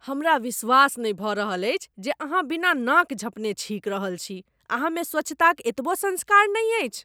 हमरा विश्वास नहि भऽ रहल अछि जे अहाँ बिना नाक झँपने छींकि रहल छी। अहाँमे स्वच्छताक एतबो संस्कार नहि अछि ?